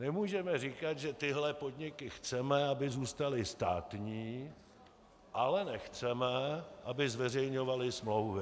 Nemůžeme říkat, že tyhle podniky chceme, aby zůstaly státní, ale nechceme, aby zveřejňovaly smlouvy.